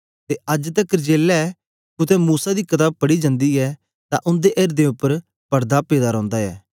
ते अज्ज तकर जेलै कुत्ते मूसा दी कताब पढ़ी जन्दी ऐ तां उंदे एर्दें उपर पड़दा पेदा रौंदा ऐ